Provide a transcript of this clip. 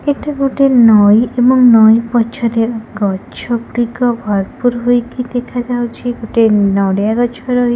ଏଟା ଗୋଟେ ନଈ ଏବଂ ନଈ ପଛରେ ଗଛ ଗୁଡ଼ିକ ଭରପୁର ହୋଇକି ଦେଖା ଯାଉଛି। ଗୋଟେ ନଡ଼ିଆ ଗଛ ରହି --